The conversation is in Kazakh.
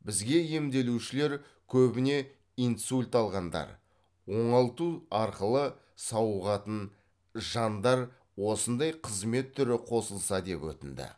бізге емделушілер көбіне инсульт алғандар оңалту арқылы сауығатын жандар осындай қызмет түрі қосылса деп өтінді